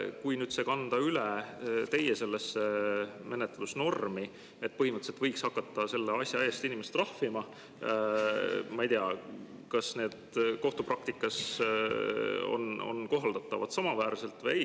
Kui nüüd see kanda üle teie menetlusnormi, et põhimõtteliselt võiks hakata selle asja eest inimesi trahvima, siis ma ei tea, kas see kohtupraktikas on kohaldatav samaväärselt või ei.